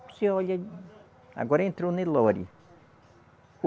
Você olha. Agora entrou o Nelore.